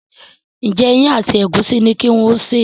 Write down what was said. Njé Iyán àti egusi ní kí wón ṣe?